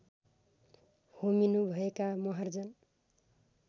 होमिनुभएका Maharjan